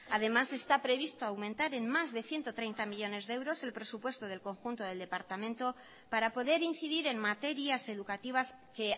además está previsto aumentar en más de ciento treinta millónes de euros el presupuesto del conjunto del departamento para poder incidir en materias educativas que